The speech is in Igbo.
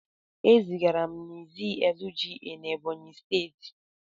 E zigara m na Izzi LGA na Ebonyi steeti.